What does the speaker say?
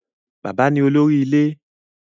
Bàbá ni olórí ilé.